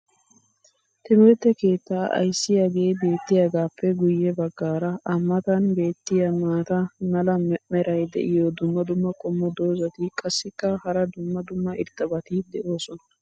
Timirtte keettaa ayssiyaagee beetiyaagaappe guye bagaara a matan beetiya maata mala meray diyo dumma dumma qommo dozzati qassikka hara dumma dumma irxxabati doosona.